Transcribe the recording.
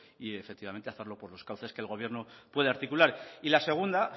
y efectivamente hacerlo por esos cauces que el gobierno puede articular y la segunda